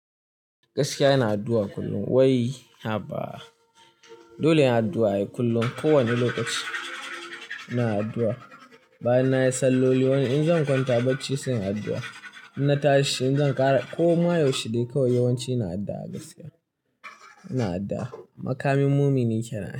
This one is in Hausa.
Gaskiya ina addu'a kullum. Wai, haba! Dole in addu'a ai kullum, kowane lokaci ina addu'a. Bayan nayi salloli, in zan kwanta barci sai in addu'a. In na tashi in zan ƙara, koma yaushe dai kawai yawanci ina addu'a gaskiya. Ina addu'a, makamin mumini kenan ai.